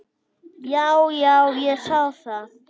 Já, já, ég sá það.